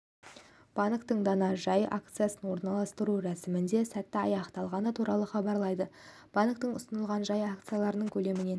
банктің дана жай акциясын орналастыру рәсімінің сәтті аяқталғаны туралы хабарлайды банктің ұсынылған жай акцияларының көлемінен